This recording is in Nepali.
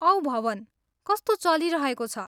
औ भवन, कस्तो चलिरहेको छ?